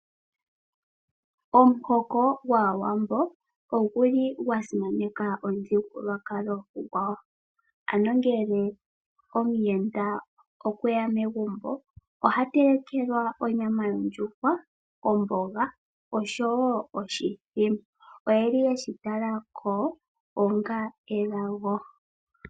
Omuhoko gwAawambo ogwa simaneka omuthigululwakalo gwawo. Omuyenda ngele okwe ya megumbo oha telekelwa onyama yondjuhwa, omboga oshowo oshithima. Shika oyeshi tala ko onga elago.